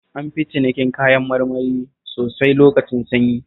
An fi cinikin kayan marmari sosai lokacin sanyi